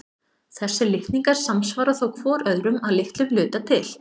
Þessir litningar samsvara þó hvor öðrum að litlum hluta til.